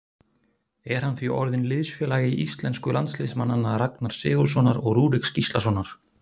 Er hann því orðinn liðsfélagi íslensku landsliðsmannanna Ragnars Sigurðssonar og Rúriks Gíslasonar.